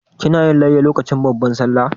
Kina yin layya lokacin babban Sallah?